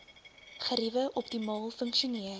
geriewe optimaal funksioneer